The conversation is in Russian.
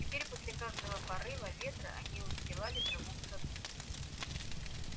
теперь после каждого порыва ветра они устилали траву в саду